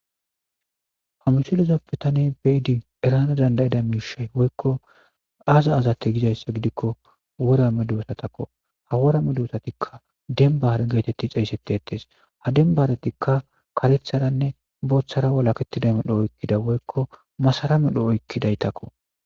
hamisuliza bitane beidi erana dandayida miishay woykko aaza azatte gizayssa gidikko wora meduwesatakko ha wora me duwosatikka dembare geetetti xeysseteetees ha dembaratikka karetharanne booththara walaketida medho oykkida woykko masaramedho oykkidaytakko